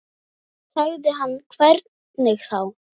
Þá sagði hann hvernig þá.